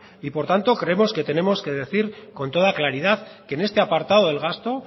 por tanto creemos que tenemos que decir con toda claridad que en este apartado del gasto